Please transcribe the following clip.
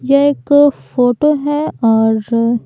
यह एक फोटो है और--